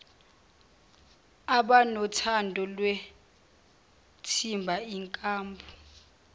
abanothando lwethimba inkambu